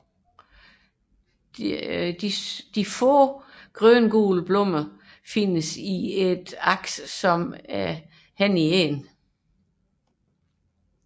De få grøngule blomster findes i et endestillet aks